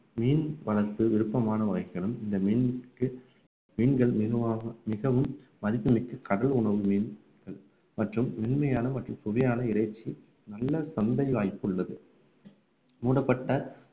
மீன் வளர்ப்பு விருப்பமான இந்த மீனுக்கு மீன்கள் மெதுவாகவும் மிகவும் மதிப்புமிக்க கடல் உணவு மீன் மற்றும் மென்மையான மற்றும் சுவையான இறைச்சி நல்ல சந்தை வாய்ப்பு உள்ளது மூடப்பட்ட